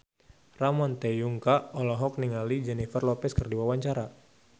Ramon T. Yungka olohok ningali Jennifer Lopez keur diwawancara